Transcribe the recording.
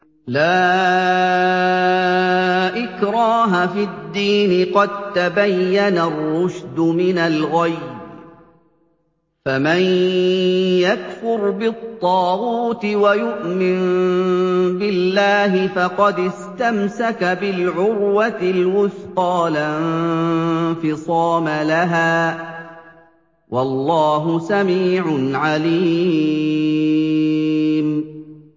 لَا إِكْرَاهَ فِي الدِّينِ ۖ قَد تَّبَيَّنَ الرُّشْدُ مِنَ الْغَيِّ ۚ فَمَن يَكْفُرْ بِالطَّاغُوتِ وَيُؤْمِن بِاللَّهِ فَقَدِ اسْتَمْسَكَ بِالْعُرْوَةِ الْوُثْقَىٰ لَا انفِصَامَ لَهَا ۗ وَاللَّهُ سَمِيعٌ عَلِيمٌ